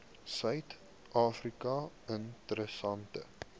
suid afrika interessante